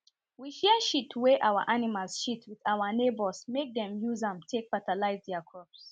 we share shit wen our animals shit with our neighbours make dem use am take fatalize their crops